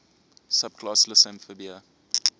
subclass lissamphibia